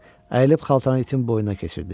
Əyilib xaltanı itin boynuna keçirdi.